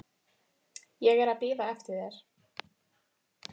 Ég er að bíða eftir þér.